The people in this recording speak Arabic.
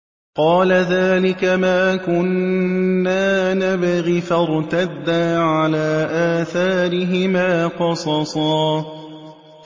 قَالَ ذَٰلِكَ مَا كُنَّا نَبْغِ ۚ فَارْتَدَّا عَلَىٰ آثَارِهِمَا قَصَصًا